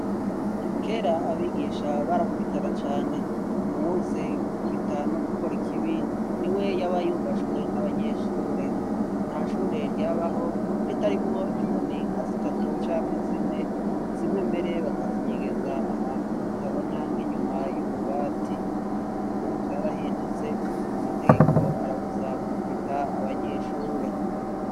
Kera abigisha barakubitana cane uwuzi gukubita no gukora ikibi niwe yaba yubashwe n'abanyeshure. Ntashure ryabaho ritarimwo inkoni nka zitatu canke zine zimwe mbere bakazinyegeza ahantu hatabona nk'inyuma y'ububati. Ybu vyarahindutse amategeko arabuza gukubita abanyeshure.